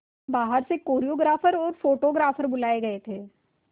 बाहर से कोरियोग्राफर और फोटोग्राफर बुलाए गए थे